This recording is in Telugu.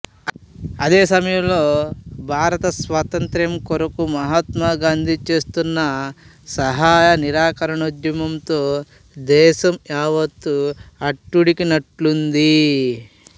అదే సమయంలో భారత స్వాతంత్ర్యం కొరకు మహాత్మా గాంధీ చేస్తున్న సహాయ నిరాకరణోద్యమంతో దేశం యావత్తు అట్టుడికినట్టున్నది